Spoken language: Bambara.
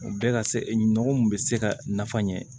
U bɛɛ ka se nɔgɔ mun bɛ se ka nafa ɲɛ